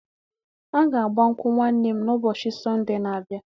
A ga-agba nkwụ nwanne m na ụbọchị Sonde n'abia